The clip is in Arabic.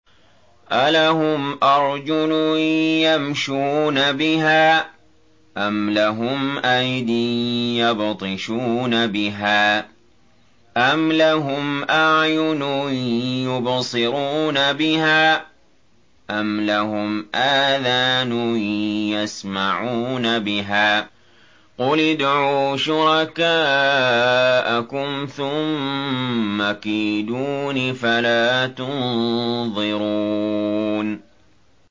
أَلَهُمْ أَرْجُلٌ يَمْشُونَ بِهَا ۖ أَمْ لَهُمْ أَيْدٍ يَبْطِشُونَ بِهَا ۖ أَمْ لَهُمْ أَعْيُنٌ يُبْصِرُونَ بِهَا ۖ أَمْ لَهُمْ آذَانٌ يَسْمَعُونَ بِهَا ۗ قُلِ ادْعُوا شُرَكَاءَكُمْ ثُمَّ كِيدُونِ فَلَا تُنظِرُونِ